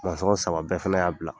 saba bɛɛ fana y'a bila.